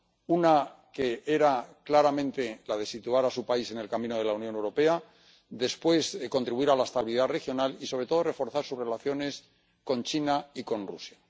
una que era claramente la de situar a su país en el camino de la Unión Europea, después contribuir a la estabilidad regional y, sobre todo, reforzar sus relaciones con China y con Rusia.